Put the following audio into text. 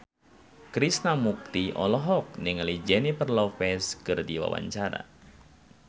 Krishna Mukti olohok ningali Jennifer Lopez keur diwawancara